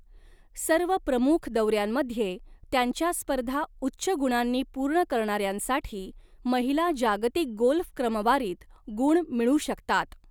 सर्व प्रमुख दौर्यांमध्ये त्यांच्या स्पर्धा उच्च गुणांनी पूर्ण करणार्यांसाठी महिला जागतिक गोल्फ क्रमवारीत गुण मिळू शकतात.